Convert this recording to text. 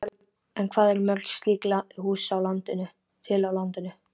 En hvað eru mörg slík hús til á landinu?